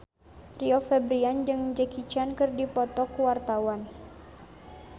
Rio Febrian jeung Jackie Chan keur dipoto ku wartawan